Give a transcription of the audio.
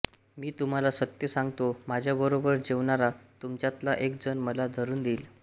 मी तुम्हाला सत्य सांगतो माझ्याबरोबर जेवणारा तुमच्यातला एक जण मला धरून देईल